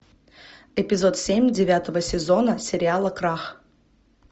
эпизод семь девятого сезона сериала крах